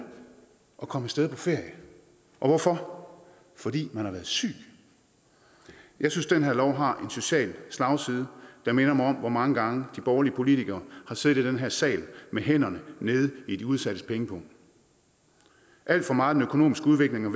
at komme af sted på ferie hvorfor fordi man har været syg jeg synes den her lov har en social slagside der minder mig om hvor mange gange de borgerlige politikere har siddet i den her sag med hænderne nede i de udsattes pengepung alt for meget af den økonomiske udvikling og